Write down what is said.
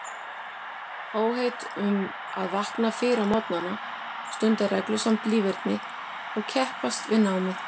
Áheit um að vakna fyrr á morgnana, stunda reglusamt líferni og keppast við námið.